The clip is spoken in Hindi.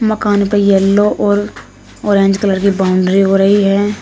मकान पे येलो और ऑरेंज कलर की बाउंड्री हो रही है।